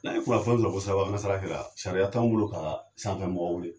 a fɔlen don ko sirabakan kasara kɛla, sariya t'anw bolo kaa sanfɛ mɔgɔw weele.